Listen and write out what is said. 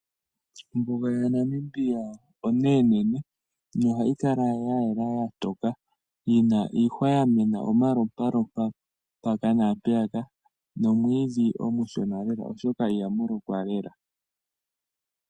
Ombuga yaNamibia oneenene nohayi kala ya yela ya toka yina iihwa yamena omalopalopa mpaka naa mpeya ka, nomwiidhi omushona lela oshoka iha mu lokwa lela.